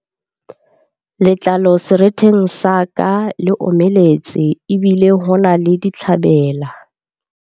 Letlalo seretheng sa ka le omeletse ebile ho na le ditlhabela.